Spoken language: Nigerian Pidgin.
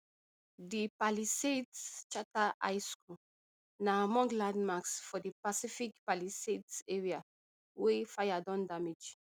di palisades charter high school na among landmarks for di pacific palisades area wey fire don damage